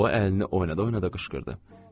O əlini oynada-oynada qışqırdı.